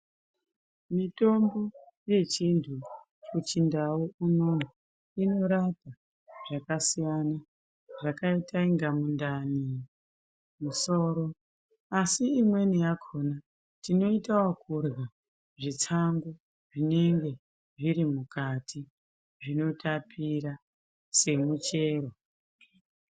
Mitombo yechindye kuchindau unono inorapa zvakasiyana zvakaita inga mundani, musoro asi imweni yakhona tinoita ekurya zvitsangu zvinenge zviri mukati zvinotapira semuchero.